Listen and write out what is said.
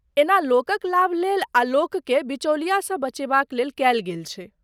एना लोकक लाभ लेल आ लोकके बिचौलियासँ बचेबाक लेल कयल गेल छै।